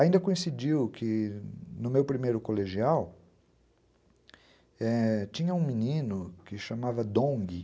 Ainda coincidiu que, no meu primeiro colegial, tinha um menino que se chamava Dong.